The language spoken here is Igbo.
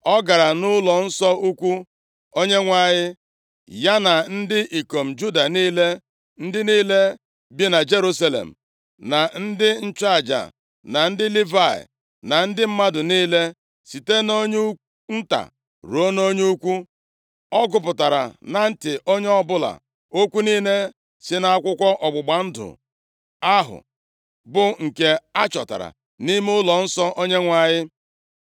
Ọ gara nʼụlọnsọ ukwu Onyenwe anyị, ya na ndị ikom Juda niile, ndị niile bi na Jerusalem, na ndị nchụaja, na ndị Livayị, na ndị mmadụ niile, site nʼonye nta ruo na onye ukwu. Ọ gụpụtara na ntị onye ọbụla okwu niile si nʼakwụkwọ ọgbụgba ndụ ahụ, bụ nke achọtara nʼime ụlọnsọ Onyenwe anyị.